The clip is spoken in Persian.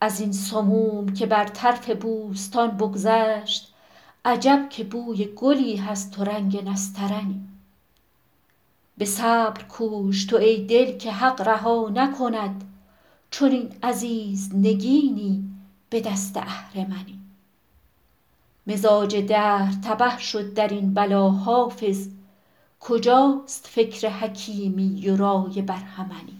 از این سموم که بر طرف بوستان بگذشت عجب که بوی گلی هست و رنگ نسترنی به صبر کوش تو ای دل که حق رها نکند چنین عزیز نگینی به دست اهرمنی مزاج دهر تبه شد در این بلا حافظ کجاست فکر حکیمی و رای برهمنی